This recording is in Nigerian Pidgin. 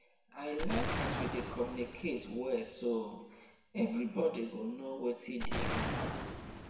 i like as we dey communicate well so everybodi go know wetin dey happen